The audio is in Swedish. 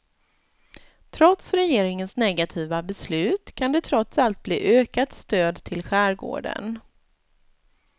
Trots regeringens negativa beslut kan det trots allt bli ökat stöd till skärgården.